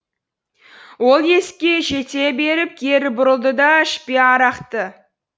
ол есікке жете беріп кері бұрылды да ішпе арақты